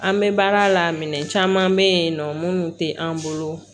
An bɛ baara la minɛn caman bɛ yen nɔ minnu tɛ an bolo